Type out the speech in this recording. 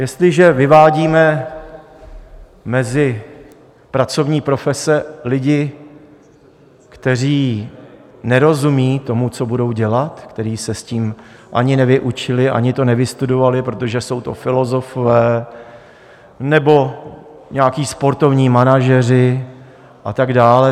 Jestliže vyvádíme mezi pracovní profese lidi, kteří nerozumí tomu, co budou dělat, kteří se s tím ani nevyučili ani to nevystudovali, protože jsou to filozofové nebo nějací sportovní manažeři a tak dál.